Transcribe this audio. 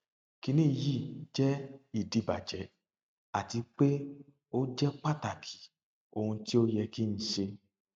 kini yi je idibajẹ ati pe o jẹ pataki ohun ti o yẹ ki n ṣe